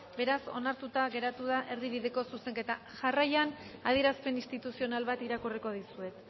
beraz onartuta geratu da erdibideko zuzenketa jarraian adierazpen instituzional bat irakurriko dizuet